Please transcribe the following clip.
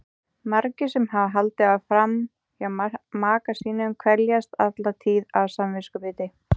Margir sem hafa haldið fram hjá maka sínum kveljast alla tíð af samviskubiti.